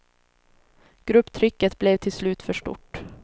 Grupptrycket blev till slut för stort.